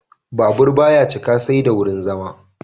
Babur ba ya cika sai da wurin zama.